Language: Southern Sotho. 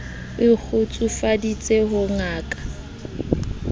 o ikgotsofaditse ho ya ka